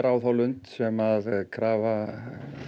á þá lund sem krafa